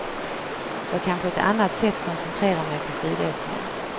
Jag kan på ett annat sätt koncentrera mig på skidåkningen.